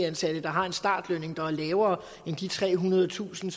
ansatte der har en startløn der er lavere end de trehundredetusind